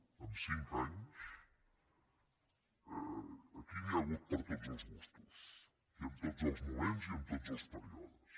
en cinc anys aquí n’hi ha hagut per a tots els gustos i en tots els moments i en tots els períodes